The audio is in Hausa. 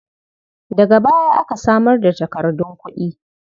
Daga baya aka samar da takardun kuɗi.